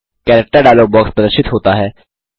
character dialog box प्रदर्शित होता है